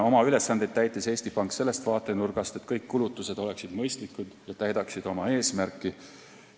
Oma ülesandeid täitis Eesti Pank sellest vaatenurgast, et kõik kulutused oleksid mõistlikud ja täidaksid oma eesmärki.